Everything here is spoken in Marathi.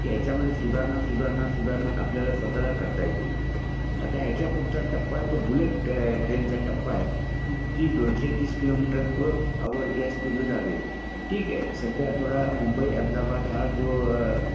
की त्या मध्ये सुधारणा सुधारणा सुधारणा आपल्याला स्वताला करता येतील आता ह्याचा पुडचा टप्पा आहे तो बुलेट ट्रेन चा टप्पा आहे दोनशे तीस किलोमीटर पर आवर ह्या स्पीड ने धावेल ठिके सध्या मुंबई अहेमदाबाद हा जो